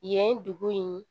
Yen dugu in